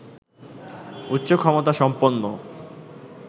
উচ্চ ক্ষমতা সম্পন্ন